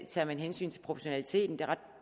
tager hensyn til proportionaliteten